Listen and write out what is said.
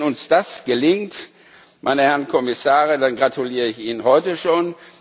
Wenn uns das gelingt, meine Herren Kommissare, dann gratuliere ich Ihnen heute schon.